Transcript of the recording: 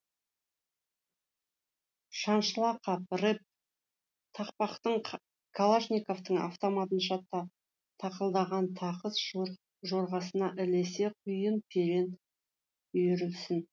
шаншыла қап рэп тақпақтың калашниковтың автоматынша тақылдаған тақыс жорғасына ілесе құйын перен үйірілсін